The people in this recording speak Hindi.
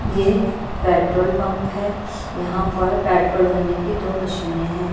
ये पेट्रोल पंप है यहां पर पेट्रोल भरने की दो मशीने हैं।